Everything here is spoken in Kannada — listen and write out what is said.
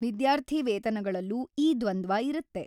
ವಿದ್ಯಾರ್ಥಿವೇತನಗಳಲ್ಲೂ ಈ ದ್ವಂದ್ವ ಇರತ್ತೆ.